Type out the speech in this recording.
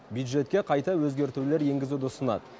бюджетке қайта өзгертулер енгізуді ұсынады